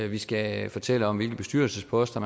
vi skal fortælle om hvilke bestyrelsesposter